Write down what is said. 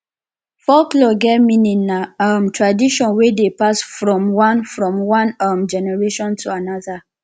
folklore get meaning na um tradition we dey pass from one from one um generation to another